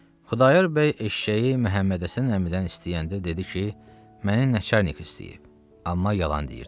Xudayar bəy eşşəyi Məhəmməd Həsən əmidən istəyəndə dedi ki, mənə nəçarnik istəyib, amma yalan deyirdi.